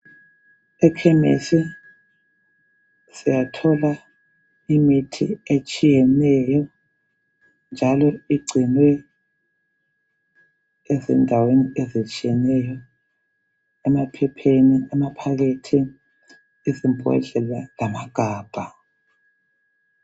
Ekhemesi siyathola imithi etshiyeneyo njalo igcinwe endaweni ezitshiyeneyo emaphepheni amaphakethi izombodlela lamagabha.